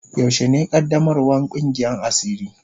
Yaushe ne qaddamarwan Kungiyan asiri.